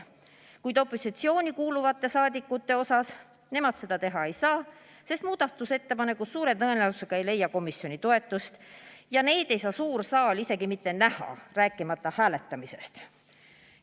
Kuid opositsiooni kuuluvad saadikud seda teha ei saa, sest nende muudatusettepanekud suure tõenäosusega ei leia komisjoni toetust ja neid ei saa suur saal isegi mitte näha, rääkimata hääletamisest.